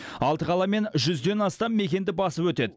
алты қала мен жүзден астам мекенді басып өтеді